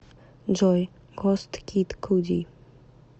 джой гост кид куди